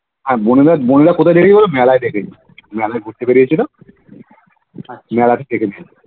আর বোনেরা নিজেদের কোথায় দেখেছি মেলায় দেখেছি মেলায় ঘুরতে বেরিয়েছিল মেলায় দেখেছি